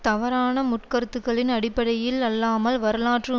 தவறான முற்கருத்துக்களின் அடிப்படையில் அல்லாமல் வரலாற்று